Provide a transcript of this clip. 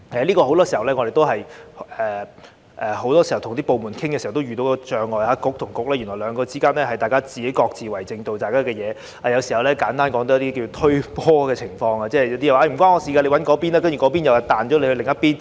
就此，我們很多時候與部門溝通時也會遇到這障礙，即政策局與政策局之間原來各自為政，只做自己的事，有時候簡單來說有"推波"的情況，例如這邊說與我無關，你找那邊，然後那邊又將你的問題轉交另一邊。